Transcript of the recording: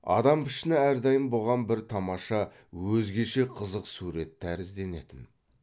адам пішіні әрдайым бұған бір тамаша өзгеше қызық сурет тәрізденетін